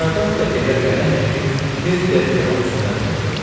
Saqarat da evə gələn kimi tez dəzgahın üstünə cumdu.